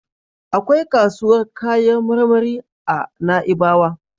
Akwai kasuwar kayan marmari a Na'ibawa.